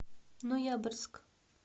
ноябрьск